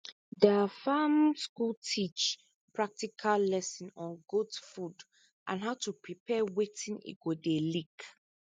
der farm school teach practical lesson on goat food and how to prepare watin e go dey lick